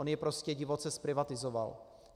On ji prostě divoce zprivatizoval.